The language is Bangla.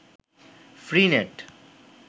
free net